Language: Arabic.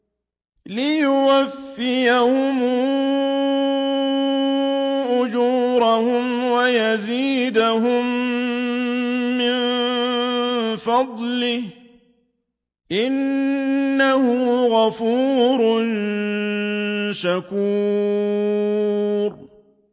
لِيُوَفِّيَهُمْ أُجُورَهُمْ وَيَزِيدَهُم مِّن فَضْلِهِ ۚ إِنَّهُ غَفُورٌ شَكُورٌ